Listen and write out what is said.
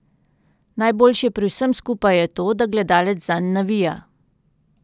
Najboljše pri vsem skupaj je to, da gledalec zanj navija.